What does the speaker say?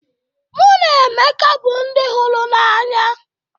Mụ na Emeka bụ ndị hụrụ n'anya